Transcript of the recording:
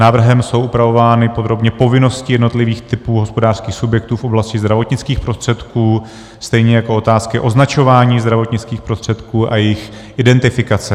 Návrhem jsou upravovány podrobně povinnosti jednotlivých typů hospodářských subjektů v oblasti zdravotnických prostředků, stejně jako otázky označování zdravotnických prostředků a jejich identifikace.